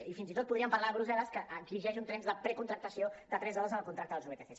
i fins i tot podríem parlar de brussel·les que exigeix un temps de precontractació de tres hores en el contracte dels vtc